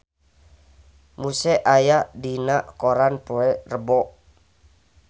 Muse aya dina koran poe Rebo